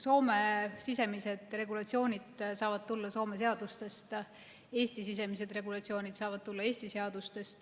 Soome sisemised regulatsioonid saavad tulla Soome seadustest, Eesti sisemised regulatsioonid saavad tulla Eesti seadustest.